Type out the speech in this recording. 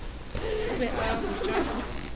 o be a ba botša